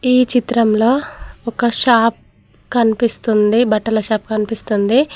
ఈ చిత్రంలో ఒక షాప్ కనిపిస్తుంది బట్టల షాప్ కనిపిస్తుంది.